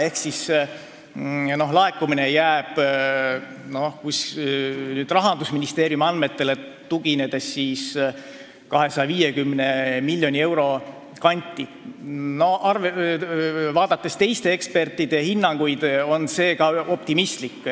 Ehk see laekumine jääb Rahandusministeeriumi andmetele tuginedes 250 miljoni euro kanti ja vaadates teiste ekspertide hinnanguid on see veel optimistlik.